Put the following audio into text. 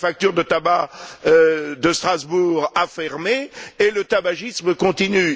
La manufacture de tabac de Strasbourg a fermé, et le tabagisme continue.